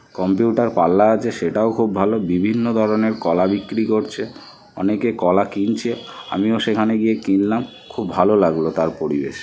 Computer পাল্লা আছে সেটাও খুব ভালো। বিভিন্ন ধরনের কলা বিক্রি করছে। অনেকে কলা কিনছে আমি ও সেখানে গিয়ে কিনলাম। খুব ভালো লাগলো তার পরিবেশ।